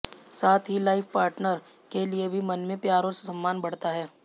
साथ ही लाइफपार्टनर के लिए भी मन में प्यार और सम्मान बढ़ता है